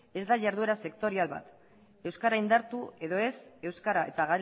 ez da iharduera sektorial bat euskara indartu edo ez euskara eta